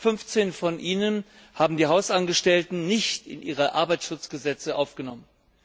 15 von ihnen haben die Hausangestellten nicht in ihre Arbeitsschutzgesetze aufgenommen.